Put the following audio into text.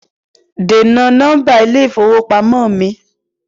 Dènà nọ́mbà ilé ìfowópamọ́ mi!